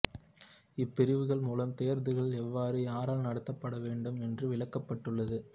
இப்பிரிவுகள் மூலம் தேர்தல்கள் எவ்வாறு யாரால் நடத்தப்படவேண்டும் என்று விளக்கப்பட்டுள்ளது